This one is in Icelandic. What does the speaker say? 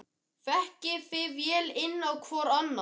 Þekkið þið vel inn á hvorn annan?